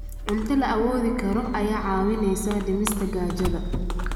Cunto la awoodi karo ayaa kaa caawinaysa dhimista gaajada.